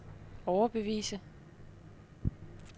overbevise